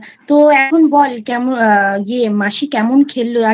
তো এখন বল, মাসি কেমন খেলল আর